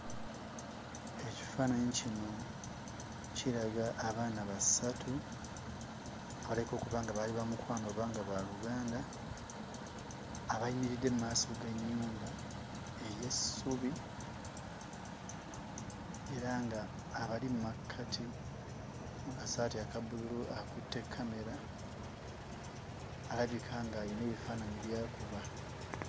Ekifaananyi kino kiraga abaana basatu abalabika okuba nga baali ba mukwano oba ba luganda abayimiridde mmaaso g'ennyumba ey'essubi era ng'abali mmakkati mu kasaati akabbululu akutte kkamera alabika ng'ayina ebifaananyi by'akuba.